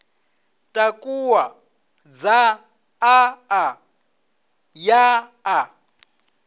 takuwa dzaṱa a ya a